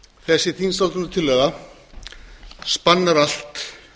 þessi þingsályktunartillaga spannar allt